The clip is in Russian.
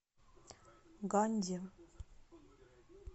ганди